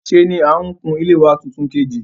Sé ni n kun ilé wa tuntun kìtà